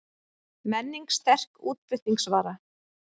Menning sterk útflutningsvara